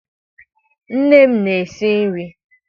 Nne m na-esi nri.